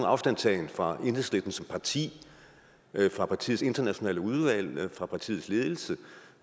afstandtagen fra enhedslisten som parti fra partiets internationale udvalg fra partiets ledelse